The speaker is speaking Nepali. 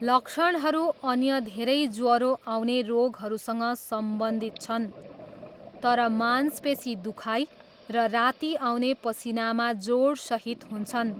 लक्षणहरू अन्य धेरै ज्वरो आउने रोगहरूसँग सम्बन्धित छन्, तर मांसपेसी दुखाइ र राती आउने पसिनामा जोडसहित हुन्छन्।